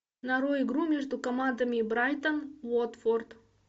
нарой игру между командами брайтон уотфорд